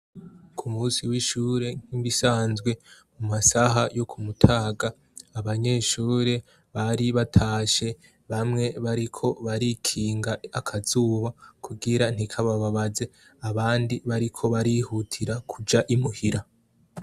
Ku munsi w'ishuri nkibisanzwe ku massaha yo ku mutaga abanyeshuri bari batashe bamwe bariko barikinga akazuba kugira ntikababaze abandi bariko barihutira kuja imuhira.